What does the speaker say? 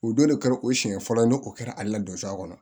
O don de kɛra o siɲɛ fɔlɔ ye o kɛra ale la donsoya kɔnɔ